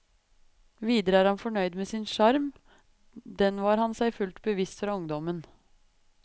Videre er han fornøyd med sin sjarm, den var han seg fullt bevisst fra ungdommen.